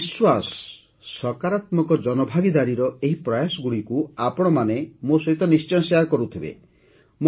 ମୋର ବିଶ୍ୱାସ ସକାରାତ୍ମକ ଜନଭାଗିଦାରୀର ଏହି ପ୍ରୟାସଗୁଡ଼ିକୁ ଆପଣମାନେ ମୋ ସହିତ ନିଶ୍ଚୟ ବାଣ୍ଟୁଥିବେ